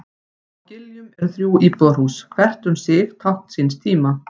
Á Giljum eru þrjú íbúðarhús, hvert um sig tákn síns tíma.